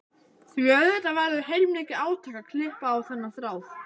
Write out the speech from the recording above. Því auðvitað verður heilmikið átak að klippa á þennan þráð.